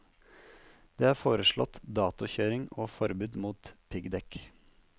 Det er foreslått datokjøring og forbud mot piggdekk.